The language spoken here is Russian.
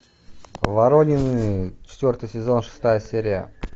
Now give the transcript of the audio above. воронины четвертый сезон шестая серия